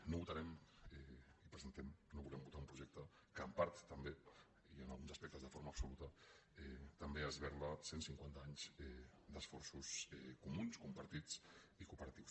no votarem no volem votar un projecte que en part també i en alguns aspectes de forma absoluta esberla cent cinquanta anys d’esforços comuns compartits i cooperatius